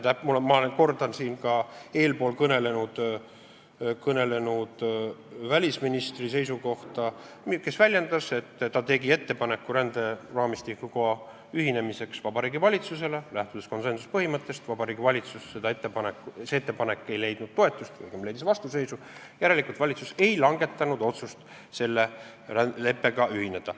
Ma kordan siin ka eespool kõnelenud välisministri seisukohta, kes ütles, et ta tegi Vabariigi Valitsusele ettepaneku ränderaamistikuga ühinemiseks, kuid konsensuspõhimõttest lähtudes see ettepanek Vabariigi Valitsuses toetust ei leidnud, õigemini leidis vastuseisu, järelikult ei langetanud valitsus otsust selle leppega ühineda.